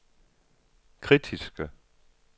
kritiske